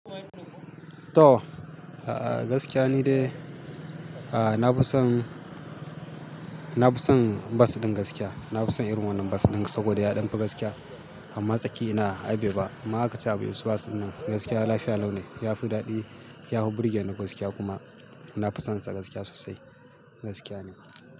To, gaskiya ni dai. Na fi son, na fi son bas din gaskiya. Na fi son irin wannan bus ɗin saboda ya ɗan fi gaskiya amma tsakiya ina ai bai ba. Amma haka ce a be bus ɗin nan gaskiya lafiya lau ne. Ya fi daɗi, ya fi burgeni gaskiya kuma na fi sonsa gaskiya sosai. Gaskiya ne.